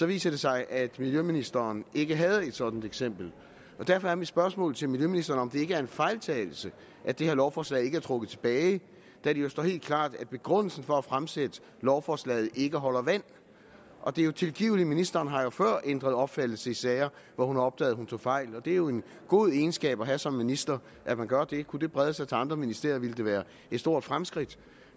viste det sig at miljøministeren ikke havde et sådant eksempel derfor er mit spørgsmål til miljøministeren om det ikke er en fejltagelse at det her lovforslag ikke er trukket tilbage da det jo står helt klart at begrundelsen for at fremsætte lovforslaget ikke holder vand det er jo tilgiveligt ministeren har jo før ændret opfattelse i sager hvor hun har opdaget at hun tog fejl og det er jo en god egenskab at have som minister at man gør det kunne det brede sig til andre ministerier ville det være et stort fremskridt